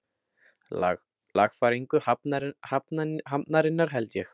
Lagfæringu hafnarinnar, held ég.